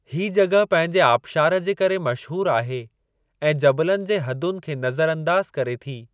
ही जॻह पंहिंजे आबशार जे करे मशहूरु आहे ऐं जबलनि जे हदुनि खे नज़र अंदाज़ु करे थी।